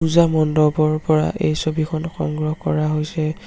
পূজা মণ্ডপ ৰ পৰা এই ছবিখন সংগ্ৰহ কৰা হৈছে।